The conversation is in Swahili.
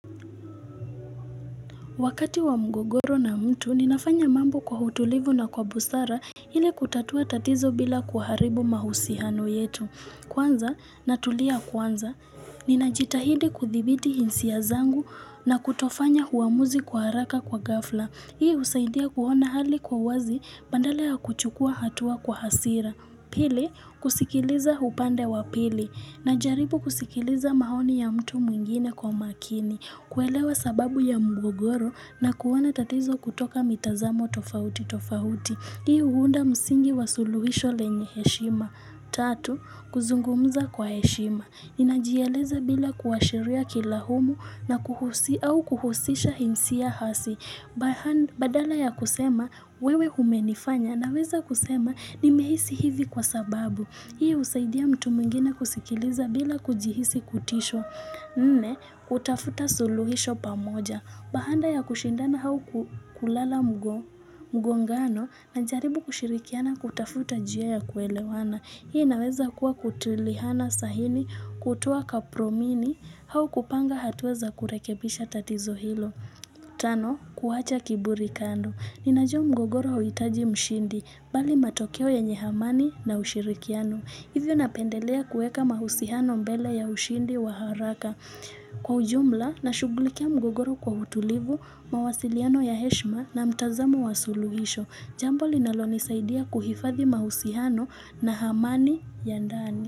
Wakati wa mgogoro na mtu, ninafanya mambo kwa utulivu na kwa busara ili kutatua tatizo bila kuharibu mahusiano yetu. Kwanza, natulia kwanza, ninajitahidi kuthibiti hisia zangu na kutofanya uamuzi kwa haraka kwa ghafla. Hii husaidia kuona hali kwa uwazi badala ya kuchukua hatua kwa hasira. Pili, kusikiliza upande wa pili najaribu kusikiliza maoni ya mtu mwingine kwa makini. Kuelewa sababu ya mgogoro na kuona tatizo kutoka mitazamo tofauti tofauti. Hii huunda msingi wa suluhisho lenye heshima. Tatu, kuzungumza kwa heshima. Inajieleza bila kuwashiria kilaumu au kuhusisha hisia hasi. Badala ya kusema wewe umenifanya naweza kusema nimehisi hivi kwa sababu. Hii husaidia mtu mwingine kusikiliza bila kujihisi kutishwa. Nne, kutafuta suluhisho pamoja. Baada ya kushindana au kulala mgongano najaribu kushirikiana kutafuta njia ya kuelewana. Hii inaweza kuwa kutiliana saini, kutoa kapromini, au kupanga hatua za kurekebisha tatizo hilo. Tano, kuwacha kiburi kando. Ninajua mgogoro hauhitaji mshindi bali matokeo yenye amani na ushirikiano. Hivyo napendelea kuweka mahusiano mbele ya ushindi wa haraka. Kwa ujumla nashughulikia mgogoro kwa utulivu, mawasiliano ya heshima na mtazamo wa suluhisho. Jambo linalonisaidia kuhifadhi mahusiano na amani ya ndani.